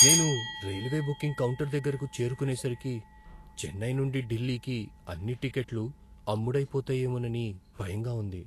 నేను railway booking counter దగ్గరకు చేరుకునే సరికి చెన్నై నుండి ఢిల్లీకి అన్నీ టిక్కెట్లు అమ్ముడైపోతాయేమోనని భయంగా ఉంది.